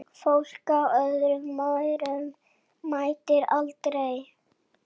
Fólk á öllum aldri mætir.